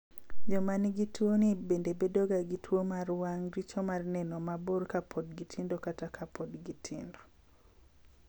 Joma nigi tuwoni bende bedoga gi tuwo mar wang' (richo mar neno mabor) ka pod gitindo kata ka pod gitindo.